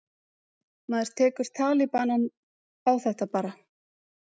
Maður tekur talibanann á þetta bara.